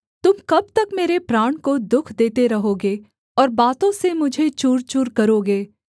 तुम कब तक मेरे प्राण को दुःख देते रहोगे और बातों से मुझे चूरचूर करोगे